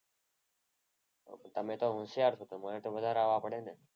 તમે તો હોશિયાર છો. તમારે તો વધારે આવા પડે ને?